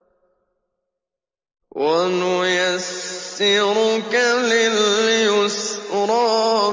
وَنُيَسِّرُكَ لِلْيُسْرَىٰ